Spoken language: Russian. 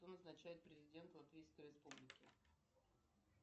кто назначает президента латвийской республики